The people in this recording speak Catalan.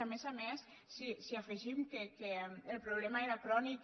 a més a més si afegim que el problema era crònic